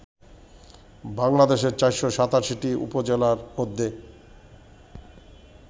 বাংলাদেশের ৪৮৭টি উপজেলার মধ্যে